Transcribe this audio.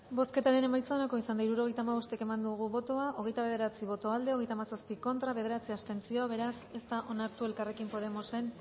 bozketaren emaitza onako izan da hirurogeita hamabost eman dugu bozka hogeita bederatzi boto aldekoa hogeita hamazazpi contra bederatzi abstentzio beraz ez da onartu elkarrekin podemosen